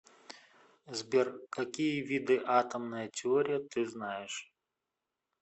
сбер какие виды атомная теория ты знаешь